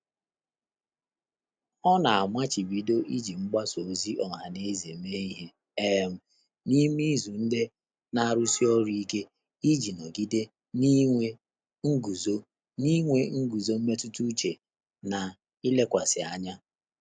Ọ́ nà-àmàchị́bídọ́ íjí mgbàsá òzì ọ́há nà ézè mèé ìhè um n’ímé ízù ndị́ nà-árụ́sí ọ́rụ́ íké ìjí nọ́gídé n’í n’ínwé ngụ́zó n’ínwé ngụ́zó mmétụ́tà úchè nà ílékwàsị́ ányá.